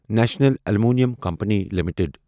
national Aluminium Company limited